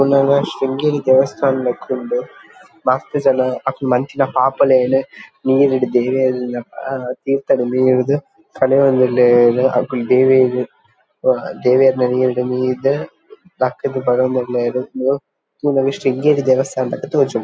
ಒಂದು ಓವ ಶೃಂಗೇರಿ ದೇವಸ್ಥಾನ ಲೆಕ ಉಂಡು ಮಸ್ತ್ ಜನ ಅಕುಲು ಮಂತಿನ ಪಾಪಲೆನ್ ನೀರ್ಡ್ ದೇವೆರ್ನ ಆ ತೀರ್ಥಡ್ ಮೀದ್ ಕಳೆಯೊಂದುಲ್ಲೆರ್ ಅಕುಲು ದೇವೆರ್ ದೇವೆರ್ನ ನೀರ್ ಡ್ ಮೀದ್ ಲಕ್ ದ್ ಬರೊಂದುಲ್ಲೆರ್ ತೂನಗ ಶೃಂಗೇರಿ ದೇವಸ್ಥಾನದ ಲೆಕ ತೋಜುಂಡು.